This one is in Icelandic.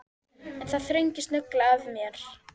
En það þrengir snögglega að mér.